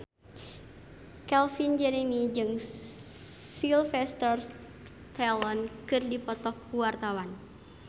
Calvin Jeremy jeung Sylvester Stallone keur dipoto ku wartawan